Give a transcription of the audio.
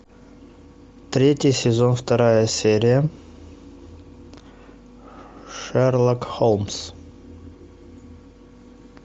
третий сезон вторая серия шерлок холмс